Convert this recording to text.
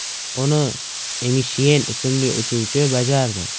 Uni Emishyen ismli uchuvchi bajardi.